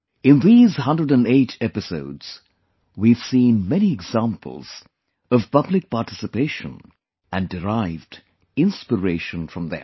In these 108 episodes, we have seen many examples of public participation and derived inspiration from them